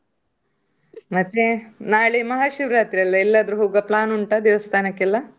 ಮತ್ತೆ ನಾಳೆ ಮಹಾಶಿವರಾತ್ರಿ ಅಲ್ಲ, ಎಲ್ಲಾದ್ರೂ ಹೋಗ್ವ plan ಉಂಟಾ ದೇವಸ್ಥಾನಕ್ಕೆಲ್ಲಾ?